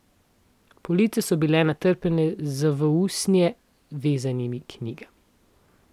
Police so bile natrpane z v usnje vezanimi knjigami.